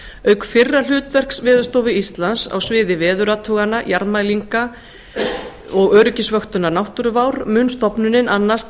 auk fyrra hlutverks veðurstofu íslands á sviði veðurathugana jarðmælinga og öryggisvöktunar náttúruvár mun stofnunin annast